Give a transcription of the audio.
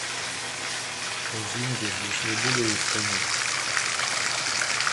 извините здесь выгуливают коней